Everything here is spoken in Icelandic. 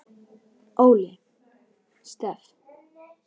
Óli Stef.